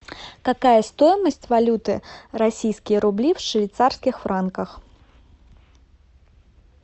какая стоимость валюты российские рубли в швейцарских франках